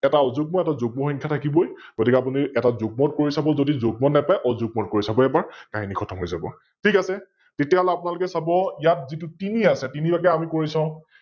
এটা অযুগ্ম আৰু এটা যুগ্ম সংখ্যা থাকিব ই গতিকে আপিনি এটা যুগ্মত কৰি চাব যদি যুগ্মত নেপাই অযুগ্মত কৰি চাব এবাৰ, কাহিনি খতম হৈ যাব । ঠিক আছে । তেতিয়াহলে আপোনালোকে চাব ইয়াত যিটো তিনি আছে তিনি লৈকে আমি কৰি চাও,